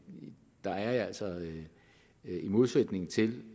der er jeg altså i modsætning til